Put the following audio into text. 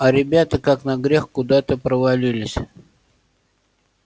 а ребята как на грех куда-то провалились